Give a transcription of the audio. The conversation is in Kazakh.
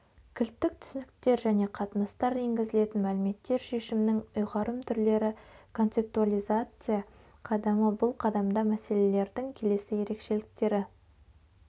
кілттік түсініктер және қатынастар енгізілетін мәліметтер шешімнің ұйғарым түрлері концептуализация қадамы бұл қадамда мәселелердің келесі ерекшеліктері